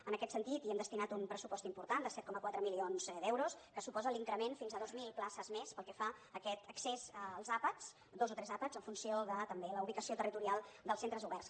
en aquest sentit hi hem destinat un pressupost important de set coma quatre milions d’euros que suposa l’increment de fins a dues mil places més pel que fa a aquest accés als àpats dos o tres àpats en funció de també la ubicació territorial dels centres oberts